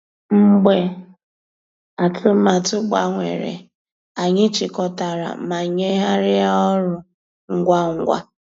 Mgbeé àtụ̀màtụ́ gbànwèrè, ànyị́ chị́kọ̀tàrà má nyéghàríá ọ́rụ́ ngwá ngwá.